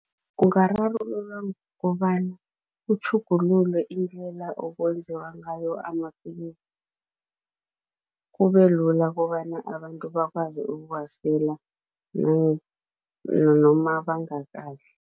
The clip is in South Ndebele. Ungararululwa ngokobana kutjhugululwe indlela okwenziwa ngayo amapilisi, kubelula kobana abantu bakwazi ukuwasela bangakadli.